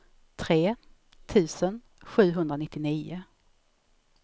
tre tusen sjuhundranittionio